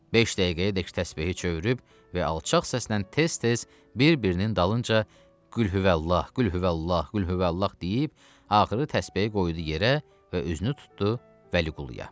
Beş dəqiqəyədək təsbehi çövürüb və alçaq səslə tez-tez bir-birinin dalınca Qülhüvəllah, Qülhüvəllah, Qülhüvəllah deyib, axırı təsbehi qoydu yerə və üzünü tutdu Vəliquluya.